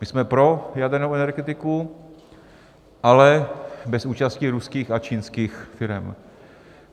My jsme pro jadernou energetiku, ale bez účasti ruských a čínských firem.